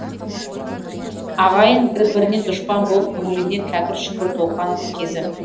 ағайын бір біріне дұшпан болып көңіліне кәкір шүкір толған кезі